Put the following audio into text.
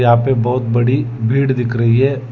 यहां पे बहुत बड़ी भीड़ दिख रही है।